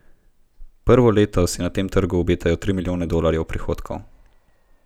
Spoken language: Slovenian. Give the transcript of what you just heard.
Prvo leto si na tem trgu obetajo tri milijone dolarjev prihodkov.